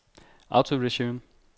autoresume